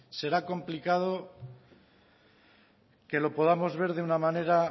será complicado que lo podamos ver de una manera